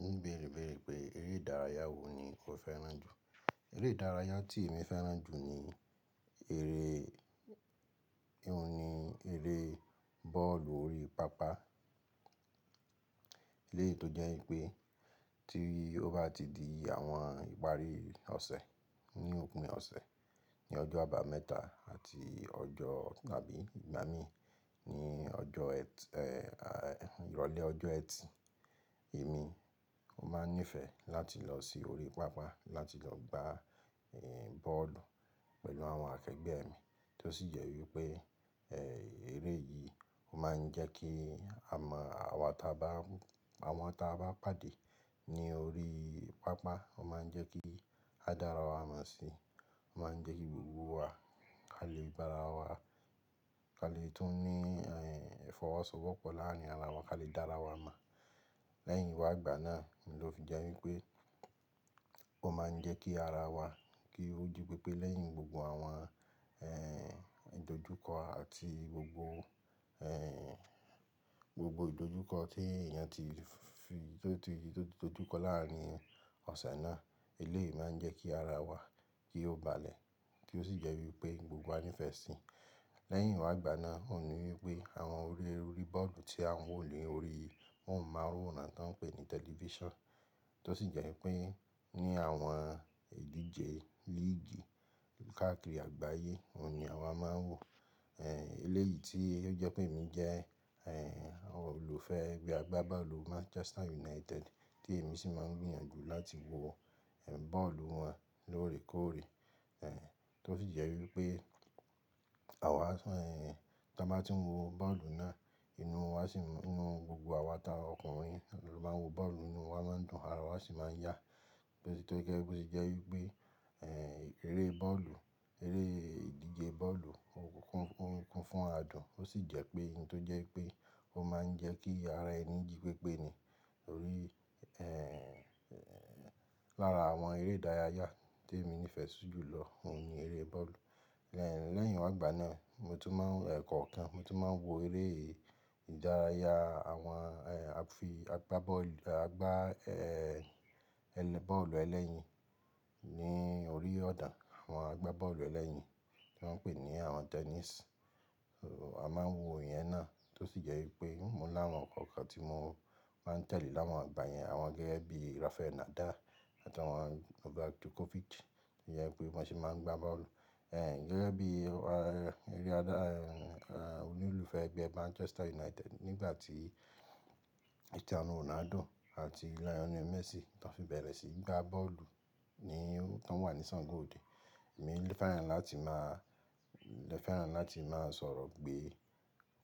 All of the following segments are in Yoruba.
Ní bèrèbèré pé eré ìdárayá wo ni o fẹ́ràn jù. Eré ìdárayá tí èmi fẹ́ràn jù ni ère, òun ni eré bọ́ọ̀lù orí pápá. Eléyìí tó jẹ́ pé tí ó bá ti di àwọn ìparí ọ̀sẹ̀ ní òpin ọ̀sẹ̀ ní ọjọ́ àbàmẹ́ta àti ọjọ́ tàbí ìgbà mí ní ọjọ́ ẹtì, ìrọ̀lẹ́ ọjọ́ ẹtì, èmi, mo máà ń nífẹ̀ láti lọsí orí pápá láti lọ gba ẹ bọ́ọ̀lù pẹ̀lú àwọn akẹgbẹ́ mi tó sì jẹ́ wípé ère yìí ó máa ń jẹ́ kí à mọ́ àwọn táa bá, àwọn táa bá pàdé ní orí pápá ó máa ń jẹ́ kí a dára wa mọ̀ si, ó máa ń jẹ́ kí gbogbo wa a lè dára wa, ka lè tún ní ìfọwọ́sowọ́pọ̀ láàárín ara wa ká lè dára wa mọ̀. Lẹ́yìn wá ìgbà náà ni ó fi jẹ́ wípé ó máa ń jẹ́ kí ara wa kí ó jí pépé lẹ́yìn gbogbo àwọn è dojúkọ àti gbogbo è gbogbo ìdojúkọ tí èèyàn ti fi tó ti tójúkọ láàárín ọ̀sẹ̀ náà. Eléyìí máa ń jẹ́ kí ara wa kí ó balẹ̀ tí ó sì jẹ́ wípé gbogbo a nífẹ̀ẹ́ sí i. Lẹ́yìn wá ìgbà náà ó ní wípé àwọn orí eré orí bọ́ọ̀lù tí à ń wò ní orí, móhùnmáwòrán tó ń pè ní tẹlifíṣàn tó sì jẹ́ wípé ní àwọn ìdíje líìgì káàkiri àgbáyé òun ni àwa máa ń wò. Eléyi tí ó jẹ́ kí èmí jẹ́ olùfẹ́ ẹgbẹ́ agbábọ́ọ̀lù manchester united tí èmi sì máà ń gbìyànjú láti wo bọ́ọ̀lù wọn lóòrèkóòrè tó jẹ́ wípé. Àwa sì ń tí a bá ti ń wo bọ́ọ̀lù náà inú wa sì ń, inú gbogbo wa àwa táa ọkùnrin ló máa ń wo bọ́ọ̀lù inú wa máa ń dùn ara wa sì máa ń yá. Tó gẹ́gẹ́ bí ó sì jẹ́ wípé è eré bọ́ọ̀lù, eré ìdíje bọ́ọ̀lù ó kún fún adùn ó sì jẹ́ pé ohun tó jẹ́ pé ó máa ń jẹ́ kí ara ẹni jí pépé ni. Torí è lára àwọn eré ìdárayá tí èmi nífẹ̀ẹ́ sí jù lọ òun ni eré bọ́ọ̀lù. Lẹ́yìn wá ìgbà náà mo tún má ń è kọ̀ọ̀kan, mo tún máa ń wo eré ìdárayá àwọn è a fi agbá bọ́ọ̀lù ẹlẹ́yin ní orí ọ̀da. Àwọn agbá bọ́ọ̀lù ẹlẹ́yin tí wón ńpè ní àwọn tennis. A máa ń wo iyẹn náà tó sì jẹ́ wípé mo láwọn kọ̀ọ̀kan tí mo máa ń tẹ̀lé láwọn ìgbà yẹn àwọn gẹ́gẹ́ bí Rafael Nadal àti àwọn Novak Djokovic. Tó jẹ́ pé bọn ṣe máa ń gba bọ́ọ̀lù. Ẹn gẹ́gẹ́ bí olùfẹ́ ẹgbẹ́ Manchester United nígbà tí Cristiano Ronaldo àti Lionel Messi tan fi bẹ̀rẹ̀ síi gba bọ́ọ̀lù ni tan wà ní sango oode. Èmi fẹ́ràn láti máa, lè fẹ́ràn láti máa sọ̀rọ̀ pé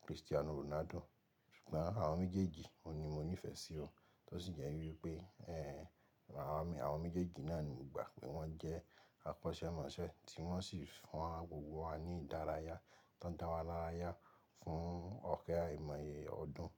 Cristiano Ronaldo. Ṣùgbọ́n àwọn méjèèjì òun ni mo nífẹ̀ẹ́ sí o tó sì jẹ́ wípé è àwọn méjèèjì náà ni mo gbà pé wọ́n jẹ́ akọ́ṣẹ́mọṣẹ́ tí wọ́n sì fún gbogbo wa ní ìdárayá tan dá wa lárayá fún ọ̀kẹ́ àìmọye ọdún.